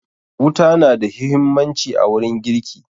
Wuta na da huhimmaci a wurin girki